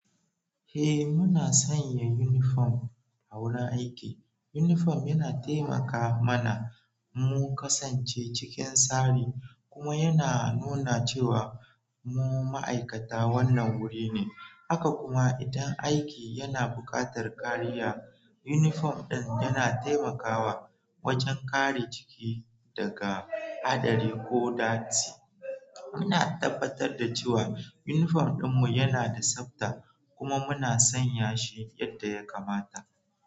Eh, muna sanya yunifom a wurin aiki. Yunifom yana taimaka mana mu kasance cikin tsari kuma yana nuna cewa mu ma'aikata wannan wurin ne. Haka kuma, idan aiki yana buƙatar kariya, yunifom ɗin yana taimakawa wajen kare jiki daga haɗari ko datti. Muna tabbatar da cewa yunifom ɗinmu yana da tsabta kuma muna sanya shi yadda ya kamata.